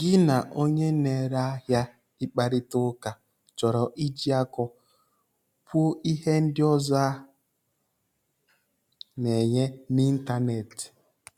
Gị na onye na-ere ahịa ịkparịta ụka chọrọ iji akọ kwuo ihe ndị ọzọ a na-enye n'ịntanetị.